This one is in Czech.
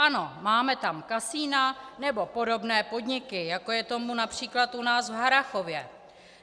Ano, máme tam kasina nebo podobné podniky, jako je tomu například u nás v Harrachově.